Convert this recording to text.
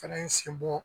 Fɛnɛ sen bɔ